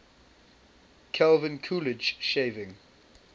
calvin coolidge shaving